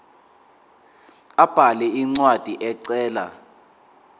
abhale incwadi ecela